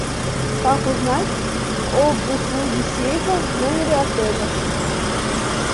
как узнать об услуге сейфа в номере отеля